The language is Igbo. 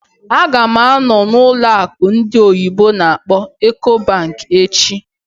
Ága m anọ n'ụlọ akụ ndị oyibo n'akpọ "Ecobank" echi